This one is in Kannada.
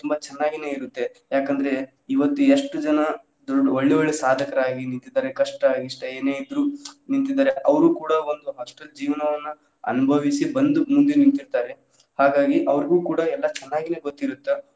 ಚನ್ನಾಗಿನೆ ಇರುತ್ತೆ ಯಾಕ ಅಂದ್ರೆ ಇವತ್ ಎಷ್ಟು ಜನಾ ಒಳ್ಳೆ ಒಳ್ಳೆ ಸಾಧಕರಾಗಿ ನಿಂತಿದ್ದಾರೆ ಕಷ್ಟಾ ಇಷ್ಟಾ ಏನೇ ಇದ್ರು ನಿಂತಿದ್ದಾರೆ ಅವ್ರು ಕೂಡಾ ಒಂದ್ hostel ಜೀವನವನ್ನ ಅನುಭವಿಸಿ ಬಂದು ಮುಂದೆ ನಿಂತಿದ್ದಾರೆ ಹಾಗಾಗಿ ಅವ್ರಿಗ್ ಕೂಡಾ ಎಲ್ಲಾ ಚನ್ನಾಗೆ ಗೊತ್ತಿರುತ್ತೆ.